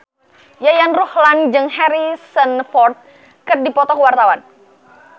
Yayan Ruhlan jeung Harrison Ford keur dipoto ku wartawan